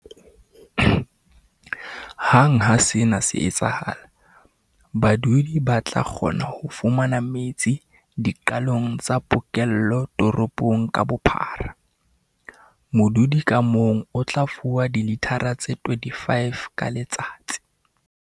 Hang ha sena se etsahala, badudi ba tla kgona ho fumana metsi diqalong tsa pokello toropong ka bophara. Modudi ka mong o tla fuwa dilithara tse 25 ka letsatsi.